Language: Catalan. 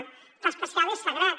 el pla especial és sagrat